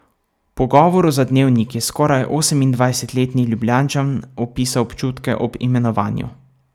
V pogovoru za Dnevnik je skoraj osemindvajsetletni Ljubljančan opisal občutke ob imenovanju.